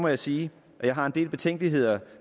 jeg sige at jeg har en del betænkeligheder